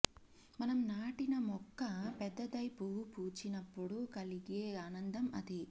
మనం నాటిన మొక్క పెద్దదై పువ్వు పూచినప్పుడు కలిగే ఆనందం అది